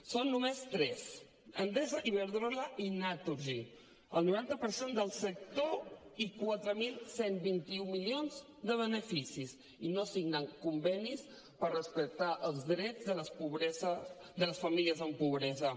són només tres endesa iberdrola i naturgy el noranta per cent del sector i quatre mil cent i vint un milions de beneficis i no signen convenis per respectar els drets de les famílies amb pobresa